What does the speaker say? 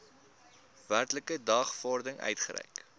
werklike dagvaarding uitgereik